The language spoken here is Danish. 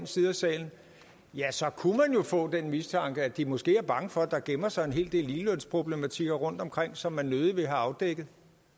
side af salen ja så kunne man jo få den mistanke at de måske er bange for at der gemmer sig en hel del ligelønsproblematikker rundtomkring som man nødig vil have afdækket